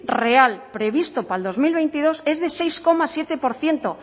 real previsto para el dos mil veintidós es de seis coma siete por ciento